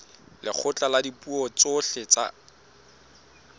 lekgotla la dipuo tsohle la